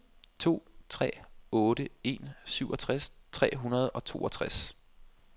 to tre otte en syvogtres tre hundrede og toogtres